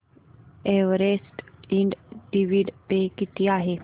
Everest Ind dividend pay किती आहे